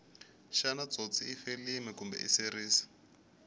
shana tsotsi ifilimu kumbe iseries